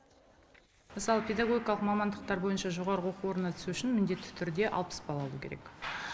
мысалы педагогикалық мамандықтар бойынша жоғарғы оқу орындарына түсу үшін міндетті түрде алпыс балл алу керек